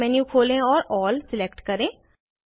pop up menu खोले और all select करें